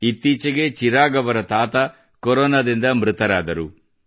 ಇತ್ತೀಚೆಗೆ ಚಿರಾಗ್ ಅವರ ತಾತ ಕೊರೊನಾದಿಂದ ಮೃತರಾದರು